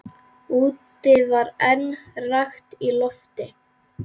Úti var enn rakt í lofti.